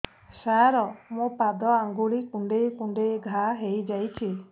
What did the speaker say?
ସାର ମୋ ପାଦ ଆଙ୍ଗୁଳି କୁଣ୍ଡେଇ କୁଣ୍ଡେଇ ଘା ହେଇଯାଇଛି